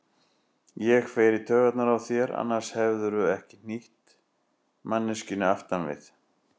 Ég fer í taugarnar á þér, annars hefðirðu ekki hnýtt manneskjunni aftan við.